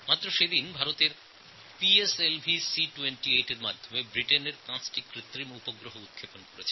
বিগত দিনে ভারতের পিএসএলভি C28 ইউনাইটেড কিংডমের পাঁচটি উপগ্রহকে সফল উৎক্ষেপণ করেছি